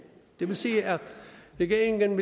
det vil sige at regeringen